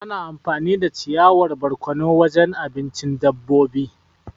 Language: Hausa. Ana amfani da ciyawar barkono wajen abincin dabobi.